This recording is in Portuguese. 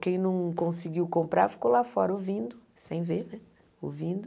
Quem não conseguiu comprar ficou lá fora ouvindo, sem ver né, ouvindo.